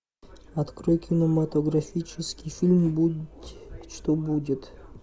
открой кинематографический фильм будь что будет